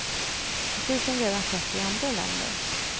Precis som redan skett i andra länder.